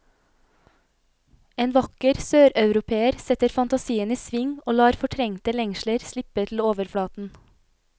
En vakker søreuropeer setter fantasien i sving og lar fortrengte lengsler slippe til overflaten.